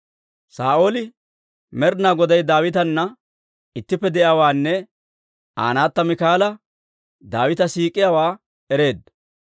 Saa'ooli Med'inaa Goday Daawitana ittippe de'iyaawaanne Aa naatta Miikaala Daawita siik'iyaawaa ereedda.